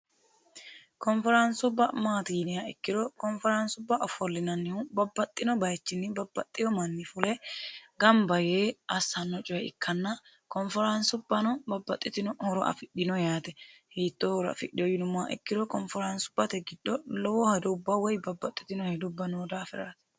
konforaansubba maatiyya yinniha ikkiro konforaansubba konforaansubba ofolinnannihu babbaxitino bayichinniba babbaxino manni fule gamba yee assanno coye ikkanna konforaansubbano babbaxitino horo afi]hino yaate hiitto horo afidhino yinummoha ikkiro konforaansubbate giddo lowo horo woy babbaxitino hedubba noo daafiraati